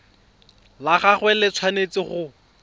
la gagwe le tshwanetse go